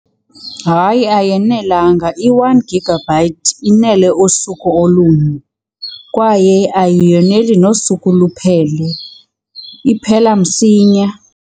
Hayi, ayanelanga. I-one gigabyte inele usuku olunye kwaye ayoneli nosuku luphele, iphela msinya.